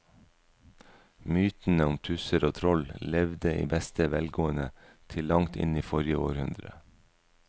Mytene om tusser og troll levde i beste velgående til langt inn i forrige århundre.